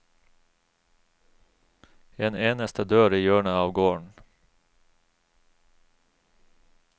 En eneste dør i hjørnet av gården.